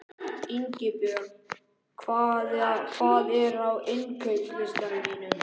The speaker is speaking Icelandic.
Ingibjörn, hvað er á innkaupalistanum mínum?